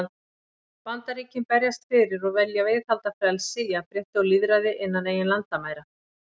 Bandaríkin berjast fyrir og vilja viðhalda frelsi, jafnrétti og lýðræði innan eigin landamæra.